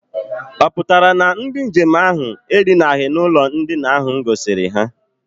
Ọ pụtara na ndị nje m ahụ edinaghị n'ụlọ ndina ahụ m gosiri ha?